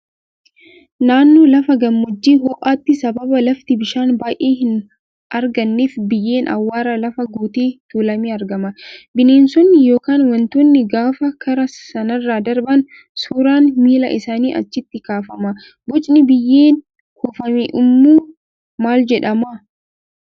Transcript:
Naannoo lafa gammoojjii ho'aatti sababa lafti bishaan baay'ee hin arganneef biyyeen awwaaraa lafa guutee tuulamee argama. Bineensonni yookaan wantoonni gaafa karaa sanarra darban suuraan miila isaanii achitti kaafama. Bocni biyyeen kuufame uumu maal jedhama?